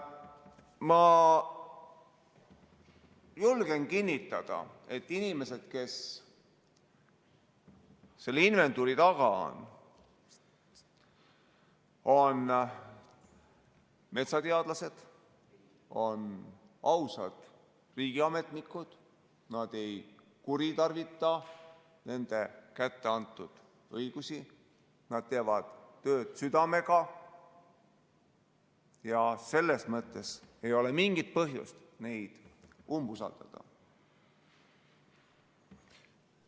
Ma julgen kinnitada, et inimesed, kes selle inventuuri taga on, on metsateadlased, on ausad riigiametnikud, nad ei kuritarvita nende kätte antud õigusi, nad teevad tööd südamega ja selles mõttes ei ole mingit põhjust neid umbusaldada.